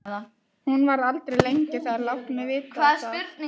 Hún verður aldrei lengi þar, láttu mig vita það.